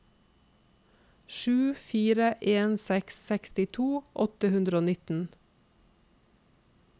sju fire en seks sekstito åtte hundre og nittien